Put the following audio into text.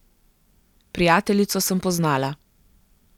Prijateljico sem poznala.